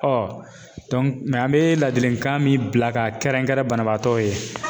an bɛ ladilikan min bila ka kɛrɛnkɛrɛn banabaatɔw ye